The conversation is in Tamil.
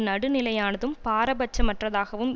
நடுநிலையானதும் பாரபட்சமற்றதாகவும்